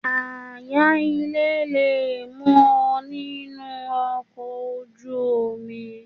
Ááyan ilé le mú ọ nínú ọkọ̀ ojú omi.